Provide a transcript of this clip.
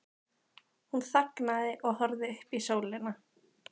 Hún þagnaði og horfði upp í sólina.